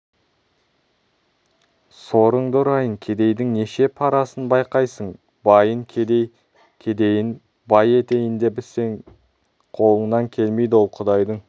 сорыңды ұрайын кедейдің неше парасын байқайсың байын кедей кедейін бай етейін десең қолыңнан келмейді ол құдайдың